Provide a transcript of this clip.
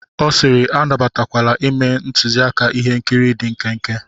Ọ sịịrị, anabatakwala ime ntuziaka ihe nkiri dị nkenke.